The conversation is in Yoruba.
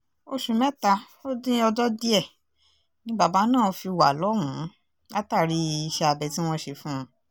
oṣù mẹ́ta ó dín ọjọ́ díẹ̀ ni bàbá náà fi wà lọ́hùn-ún látàrí iṣẹ́ abẹ tí wọ́n ṣe fún un